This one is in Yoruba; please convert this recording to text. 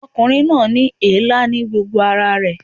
Ọkùnrin náà ní èélá ní gbogbo ara rẹ̀